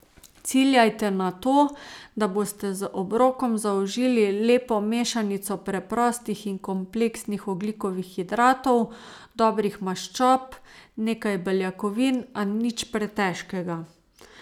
Ciljajte na to, da boste z obrokom zaužili lepo mešanico preprostih in kompleksnih ogljikovih hidratov, dobrih maščob, nekaj beljakovin, a nič pretežkega.